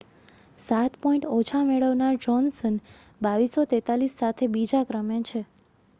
સાત પૉઇન્ટ ઓછા મેળવનાર જોહ્નસન 2,243 સાથે બીજા ક્રમે છે